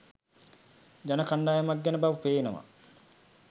ජන කණ්ඩායමක් ගැන බව පේනවා.